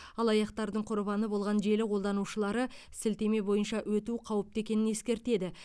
алаяқтардың құрбаны болған желі қолданушылары сілтеме бойынша өту қауіпті екенін ескертеді